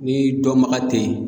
N'i dɔnbaga tɛ ye